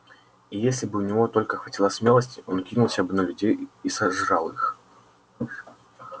и если бы у него только хватило смелости он кинулся бы на людей и сожрал их